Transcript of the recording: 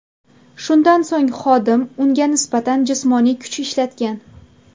Shundan so‘ng xodim unga nisbatan jismoniy kuch ishlatgan.